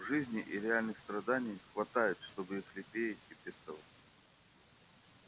в жизни и реальных страданий хватает чтобы их лелеять и пестовать